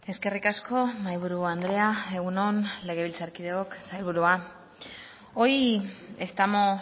eskerrik asko mahaiburu andrea egun on legebiltzarkideok sailburua hoy estamos